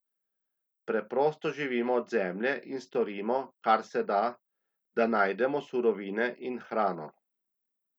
Preprosto živimo od zemlje in storimo, kar se da, da najdemo surovine in hrano.